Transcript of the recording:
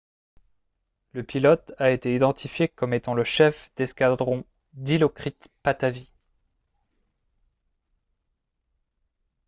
le pilote a été identifié comme étant le chef d'escadron dilokrit pattavee